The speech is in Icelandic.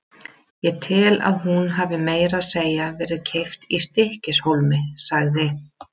Ég held að hún hafi meira að segja verið keypt í STYKKISHÓLMI, sagði